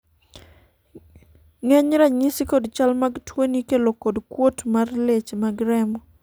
ng'eny ranyisi kod chal mag tuoni ikelo kod kuot mar leche mag remo